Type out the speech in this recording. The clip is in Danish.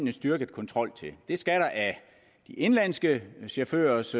en styrket kontrol til det skal der af de indenlandske chaufførers